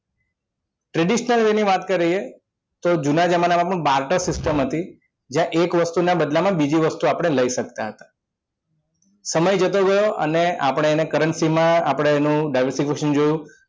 traditional way ની વાત કરીએ તો જુના જમાનામાં પણ barter system હતી જ્યાં એક વસ્તુ ના બદલામાં બીજી વસ્તુ આપણે લઈ શકતા હતા સમય જતો ગયો અને આપણે એને currency માં આપણે એનું diversification જોયું